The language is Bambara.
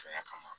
Fɛn kama